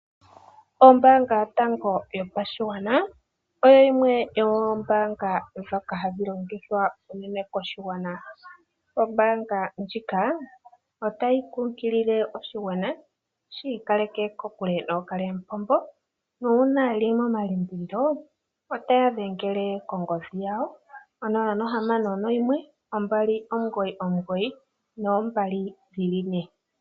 Ombaanga yotango yopashigwana oyo yimwe yomoombaanga ndhoka hadhi longithwa unene koshigwana. Ombaanga ndjika otayi kumagidha oshigwana shi ikaleke kokule nookalyamupombo. Nuuna ye li momalimbililo otaya dhengele kongodhi yawo yo 061 2992222.